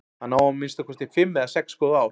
Hann á að minnsta kosti fimm eða sex góð ár.